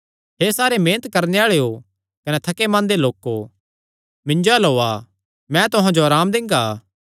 हे सारे मेहनत करणे आल़ेयो कने थके मान्दे लोको मिन्जो अल्ल ओआ मैं तुहां जो अराम दिंगा